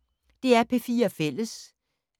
DR P4 Fælles